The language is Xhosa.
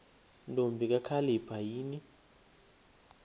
ntombi kakhalipha yini